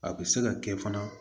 A bɛ se ka kɛ fana